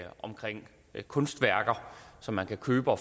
i kunstværker som man kan købe og